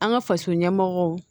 An ka faso ɲɛmɔgɔw